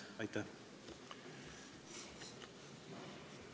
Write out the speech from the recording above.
Aitäh!